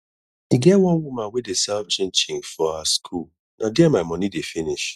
e get one woman wey dey sell chin chin for our school na there my money dey finish